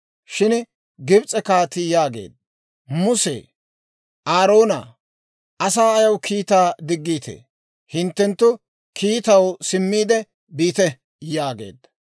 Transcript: Shin Gibs'e kaatii yaageedda; «Muse! Aaroona! Asaa ayaw kiittaa diggiittee? Hinttenttu kiittaw simmiide biite» yaageedda.